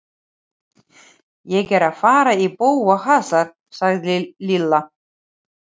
Ég er að fara í bófahasar sagði Lilla.